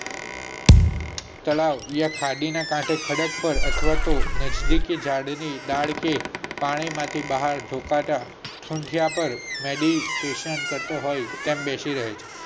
તેના ખાડી ના કાંઠે ખડક પર અથવા તો નિજદિક ઝાડ ને કાંઠે પાણી માંથી બહાર ડોકાતા ઠુડીયા પર નદી તીક્ષણ કરતા હોય તેમ બેસી રહે છે.